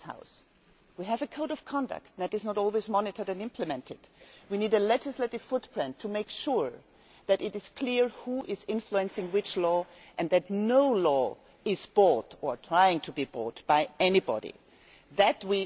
In this House we have a code of conduct that is not always monitored and implemented. We need a legislative footprint to make sure that it is clear who is influencing which law and that nobody can try to buy a law.